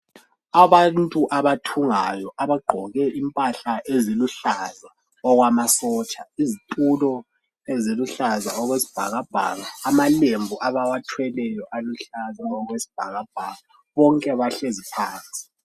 Abantu abathungayo abagqoke impahla eziluhlaza okwamasotsha, izitulo eziluhlaza okwesibhakabhaka, amalembu abawathweleyo aluhlaza okwesibhakabhaka bonke bahlezi phansi.